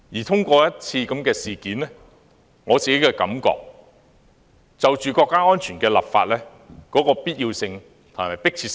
這次事件充分突顯了香港就國家安全立法的必要性和迫切性。